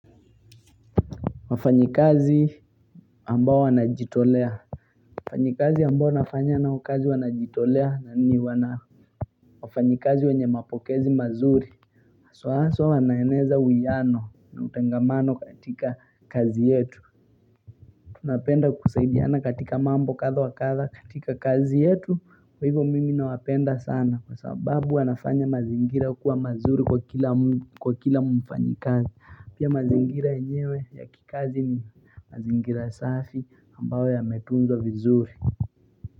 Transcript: Wafanyikazi ambao wanajitolea wafanyikazi ambao nafanya nao kazi wanajitolea na ni wafanyikazi wenye mapokezi mazuri haswa haswa wanaeneza uwiano na utengamano katika kazi yetu tunapenda kusaidiana katika mambo kadha wa kadha katika kazi yetu kwa hivo mimi nawapenda sana kwa sababu wanafanya mazingira kuwa mazuri kwa kila mfanyikazi Pia mazingira yenyewe ya kikazi mazingira safi ambao yametunzwa vizuri.